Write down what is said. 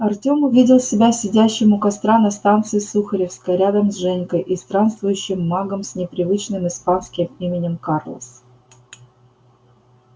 артём увидел себя сидящим у костра на станции сухаревская рядом с женькой и странствующим магом с непривычным испанским именем карлос